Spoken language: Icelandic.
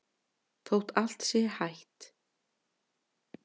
Þótt allt sé hætt?